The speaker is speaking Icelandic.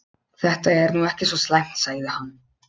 Þetta er nú ekki svo slæmt sagði hann.